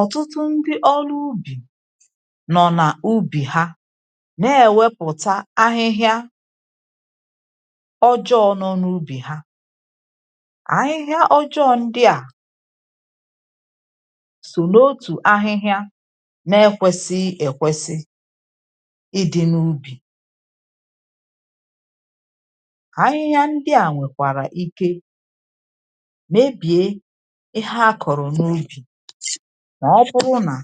ọ̀tụtụ ndị ọrụ ubì nọ̀ nà ubì ha nà ẹ̀wẹpụ̀ta ahịhịa ọjọọ̄ nọ nà ubì ha. ahịhịa ọjọọ̄ ndịà sò n’otù ahịhịa na ẹkwẹsịghị ẹ̀kwẹsị idī n’ubì. ahịhịa ndịà nwẹ̀kwàrà ike mebìe ịhẹ a kọ̀rọ̀ n’ubì, mà ọ bụ nà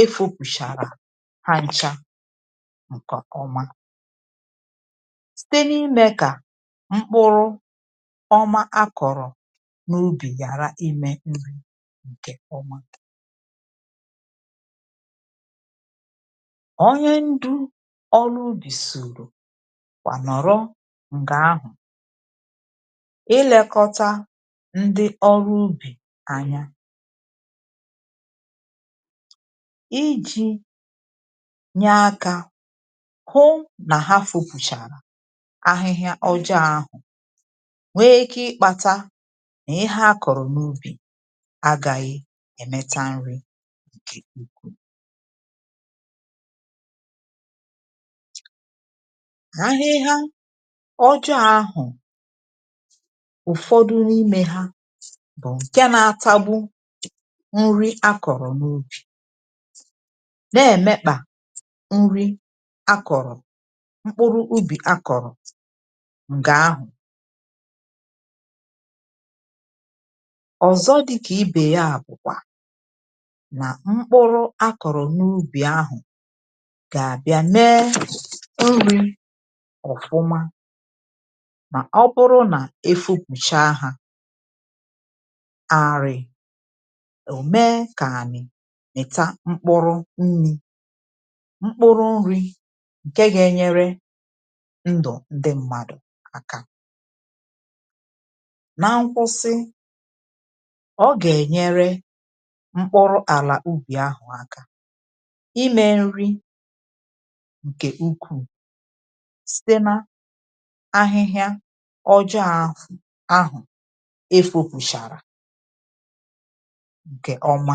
efōpùchà hancha ǹkẹ̀ ọma, site n’ịmẹ kà mkpụrụ ọma a kọ̀rọ̀ n’ubì ghàra ịmẹ̄ nri ǹkè ọma. onye ndu ọrụ ubì sùrù mà nọ̀rụ m̀gbè ahụ̀, ị lẹkọta ndị ọrụ ubì anya, ijī nyẹ akā hụ nà ha fopūchà ahịhịa ọjọọ ahụ̀, nwe ike ịkpāta nà ịhẹ a kọ̀rọ n’ubì agāghị ẹ̀mẹta nrī ǹkẹ̀ ọma. ahịhịa ojọọ ahụ̀, ụ̀fọdụ n’imē ha, ǹkẹ na atagbu nri a kọ̀rọ̀ n’ubì, nà ẹ̀mẹkpà nri a kọ̀rọ̀, mkpụrụ ubì a kọ̀rọ̀ ǹkẹ̀ ahụ̀. ọ̀zọ dịkà ibè yà bụ̀kwà nà mkpụrụ a kọ̀rọ̀ n’ubì ahụ̀ gà àbịa mẹ nrī ọ̀fụma, mà ọ bụ nà ha efopùcha hā àrị̀, ọ̀ mẹ kà ànị̀ mụ̀ta mkpụrụ nrī. mkpụrụ nrī, ǹkẹ ga ẹnyẹrẹ ndụ̀ ndị mmadù aka. na nkwụsị, ọ gà ẹ̀nyẹrẹ mkpụrụ àlà ubì ahụ̀ aka, ịmẹ nrī ǹkẹ̀ ukwuù, site n’ahịhịa ọjọọ̄ ahụ̀ efōpùchàrà ǹkè ọma.